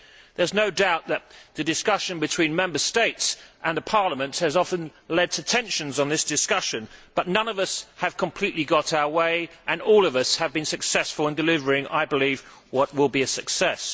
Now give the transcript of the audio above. There is no doubt that the discussion between Member States and Parliament has often led to tensions during this debate, but none of us have completely got our way and all of us have been successful in delivering what will, I believe, be a success.